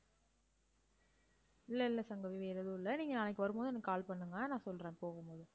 இல்ல இல்ல சங்கவி வேற எதுவும் இல்ல நீங்க நாளைக்கு வரும்போது எனக்கு call பண்ணுங்க. நான் சொல்றேன் போகும்போது.